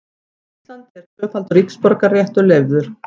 Á Íslandi er tvöfaldur ríkisborgararéttur leyfður.